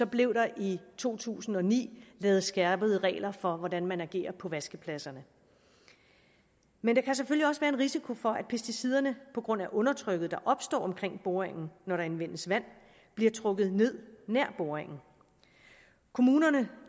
blev der i to tusind og ni lavet skærpede regler for hvordan man agerer på vaskepladserne men der kan selvfølgelig også være en risiko for at pesticiderne på grund af undertrykket der opstår omkring boringen når der anvendes vand bliver trukket ned nær boringen kommunerne